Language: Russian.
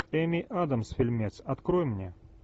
эми адамс фильмец открой мне